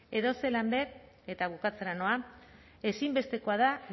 edozelan ere eta bukatzera noa ezinbestekoa da